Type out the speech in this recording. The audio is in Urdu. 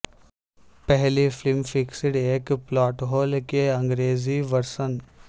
پہلی فلم فکسڈ ایک پلاٹ ہول کے انگریزی ورژن